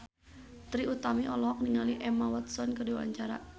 Trie Utami olohok ningali Emma Watson keur diwawancara